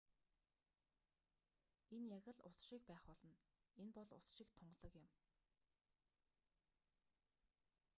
энэ яг л ус шиг байх болно энэ бол ус шиг тунгалаг юм